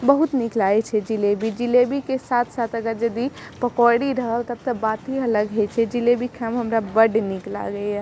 बहुत निक लागै छे जलेबी। जलेबी के साथ-साथ अगर जदी पकौड़ी रहल तब तो बात ही अलग है। ई जलेबी खाये में हमरा बड निक लगे हिय।